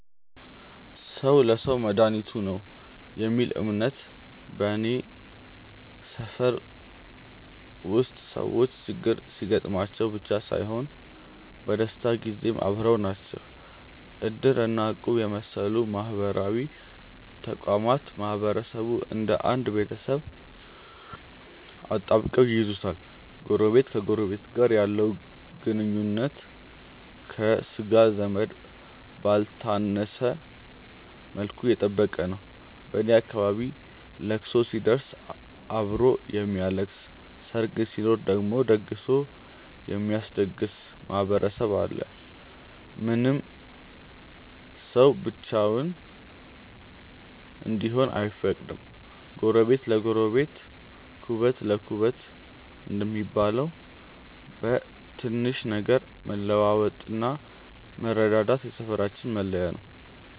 "ሰው ለሰው መድኃኒቱ ነው" የሚል እምነት በኔ ሰፈር ውስጥ ሰዎች ችግር ሲገጥማቸው ብቻ ሳይሆን በደስታም ጊዜ አብረው ናቸው። እድር እና እቁብ የመሰሉ ማህበራዊ ተቋማት ማህበረሰቡን እንደ አንድ ቤተሰብ አጣብቀው ይይዙታል። ጎረቤት ከጎረቤቱ ጋር ያለው ግንኙነት ከሥጋ ዘመድ ባልተነሰ መልኩ የጠበቀ ነው። በኔ አካባቢ ለቅሶ ሲደርስ አብሮ የሚያለቅስ፣ ሰርግ ሲኖር ደግሞ ደግሶ የሚያስደግስ ማህበረሰብ አለ። ማንም ሰው ብቻውን እንዲሆን አይፈቀድም። "ጎረቤት ለጎረቤት ኩበት ለኩበት" እንደሚባለው፣ በትንሽ ነገር መለዋወጥና መረዳዳት የሰፈራችን መለያ ነው።